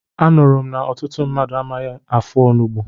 Anụrụ m na ọtụtụ mmadụ amaghị afọ onugbu.